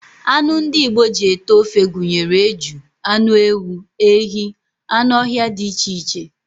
Anụ ndị Igbo ji ete ofe gụnyere eju, anụ ewu, ehi, anụ ọhịa dị iche iche